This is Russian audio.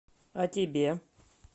а тебе